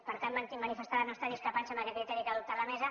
per tant manifestar la nostra discrepància amb aquest criteri que ha adoptat la mesa